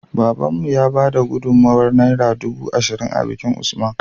Babanmu ya bada gudun mawayar naira dubu ashirin a bikin usman